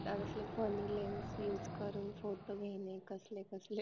असले funny language use करून photo घेणे कसले कसले